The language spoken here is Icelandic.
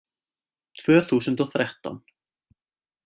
Tvö þúsund og þrettán